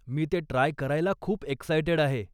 मी ते ट्राय करायला खूप एक्सायटेड आहे.